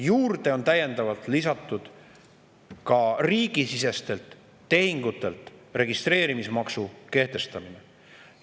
Juurde on täiendavalt lisatud ka riigisiseste tehingute puhul registreerimis kehtestamine.